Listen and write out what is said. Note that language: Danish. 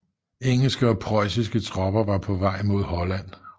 Engelske og preussiske tropper var på vej mod Holland